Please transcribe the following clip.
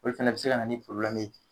Olu fana bi se ka na ni ye